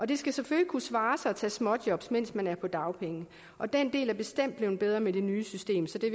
det skal selvfølgelig kunne svare sig at tage småjobs mens man er på dagpenge og den del er bestemt blevet bedre med det nye system så det